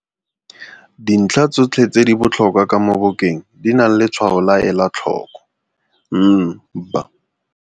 Dintlha tsôtlhe tse di botlhokwaa ka mo bukeng, di nale letshwayo la ela tlhoko NB.